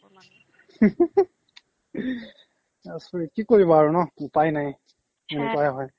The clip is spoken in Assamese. আচৰিত কি কৰিবা আৰু ন উপাই নাই সেনেকুৱাই হয়